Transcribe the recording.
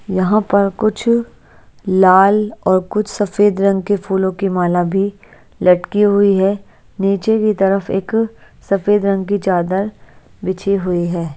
यहाँ पर कुछ लाल और कुछ सफ़ेद रंग के फूलों की माला भी लटकी हुई है नीचे की तरफ एक सफ़ेद रंग की चादर बिछी हुई है।